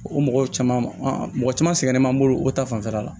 O mɔgɔ caman an mɔgɔ caman sɛgɛnnen b'an bolo o ta fanfɛla la